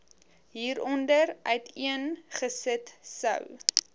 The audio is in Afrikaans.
hieronder uiteengesit sou